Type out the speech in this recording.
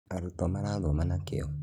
Aruto marathoma na kĩyo